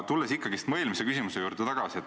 Tulen ikkagi oma eelmise küsimuse juurde tagasi.